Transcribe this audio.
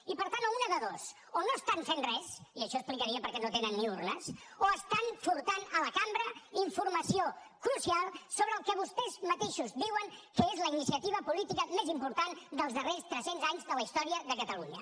i per tant una de dues o no estan fent res i això explicaria per què no tenen ni urnes o estan furtant a la cambra informació crucial sobre el que vostès mateixos diuen que és la iniciativa política més important dels darrers tres cents anys de la història de catalunya